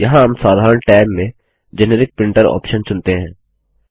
यहाँ हम साधारण टैब में जेनेरिक प्रिंटर ऑप्शन चुनते हैं